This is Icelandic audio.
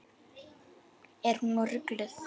Er hún rugluð?